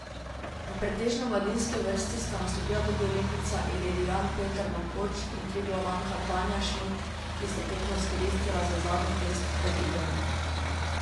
V pretežno mladinski vrsti sta nastopila tudi olimpijca, ilirijan Peter Mankoč in triglavanka Tanja Šmid, ki sta tekmo izkoristila za zadnji test pred igrami.